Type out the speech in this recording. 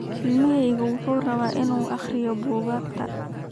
Ilmahaygu wuxuu rabaa inuu akhriyo buugaagta